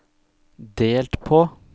delt på